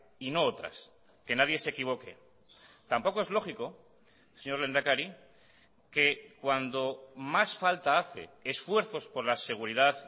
y no otras que nadie se equivoque tampoco es lógico señor lehendakari que cuando más falta hace esfuerzos por la seguridad